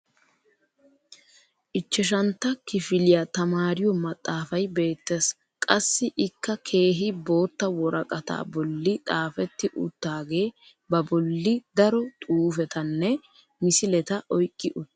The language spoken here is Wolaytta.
ichchashantta kifiliya tamaariyo maxaafay beetees. qassi ikka keehi bootta woraqataa boli xaafeti utaagee ba boli daro xuufetanne misileta oyqqi uttiis.